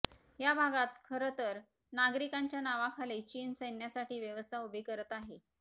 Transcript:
या भागात खरंतर नागरिकांच्या नावाखाली चीन सैन्यासाठी व्यवस्था उभी करत आहे